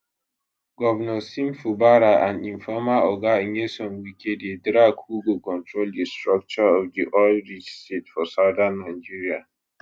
govnor sim fubara and im former oga nyesom wike dey drag who go control di structure of di oil rich state for southern nigeria